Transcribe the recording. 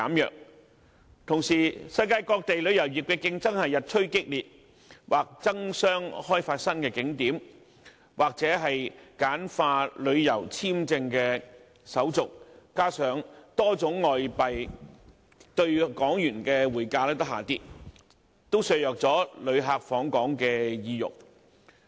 與此同時，世界旅遊業的競爭日趨激烈，各地或爭相開發新景點，或簡化旅遊簽證手續，加上多種外幣兌港元的匯價下跌，這些因素均削弱了旅客的訪港意欲。